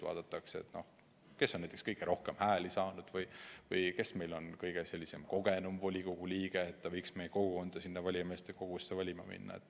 Vaadatakse, kes on näiteks kõige rohkem hääli saanud või kes meil on kõige kogenum volikogu liige, et ta võiks meie kogukonda sinna valimiskogusse esindama minna.